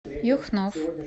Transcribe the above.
юхнов